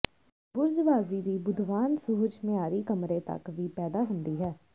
ਬੁਰਜ਼ਵਾਜ਼ੀ ਦੀ ਬੁੱਧਵਾਨ ਸੁਹਜ ਮਿਆਰੀ ਕਮਰੇ ਤੱਕ ਵੀ ਪੈਦਾ ਹੁੰਦੀ ਹੈ